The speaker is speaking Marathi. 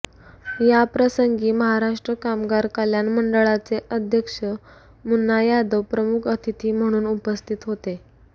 या प्रसंगी महाराष्ट्र कामगार कल्याण मंडळाचे अध्यक्ष मुन्ना यादव प्रमुख अतिथी म्हणून उपस्थित होते